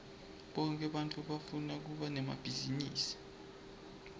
bonke bantfu bafuna kuba nemabhizinisi